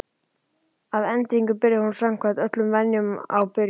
Að endingu byrjaði hún samkvæmt öllum venjum á byrjuninni.